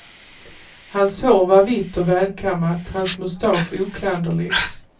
Hans hår var vitt och välkammat, hans mustasch oklanderlig.